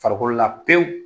Farikolola pewu